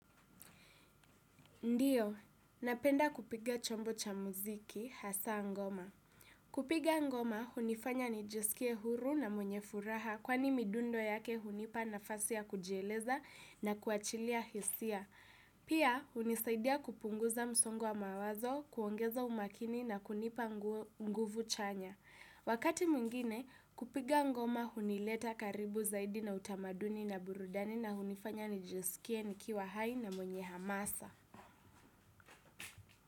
Ndiyo, napenda kupiga chombo cha muziki, hasa ngoma. Kupiga ngoma, hunifanya nijisikie huru na mwenye furaha kwani midundo yake hunipa nafasi ya kujieleza na kuachilia hisia. Pia, hunisaidia kupunguza msongo wa mawazo, kuongeza umakini na kunipa nguvu chanya. Wakati mwingine, kupiga ngoma hunileta karibu zaidi na utamaduni na burudani na hunifanya nijisikie nikiwa hai na mwenye hamasa.